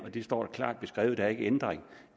og det står klart beskrevet der er ikke ændring